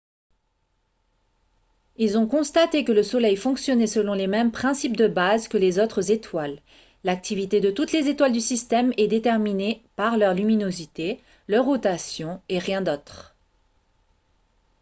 ils ont constaté que le soleil fonctionnait selon les mêmes principes de base que les autres étoiles l'activité de toutes les étoiles du système est déterminée par leur luminosité leur rotation et rien d'autre